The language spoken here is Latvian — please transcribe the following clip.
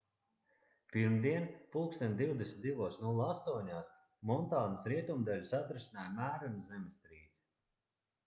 pirmdien plkst 22:08 montānas rietumdaļu satricināja mērena zemestrīce